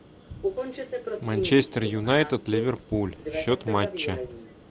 манчестер юнайтед ливерпуль счет матча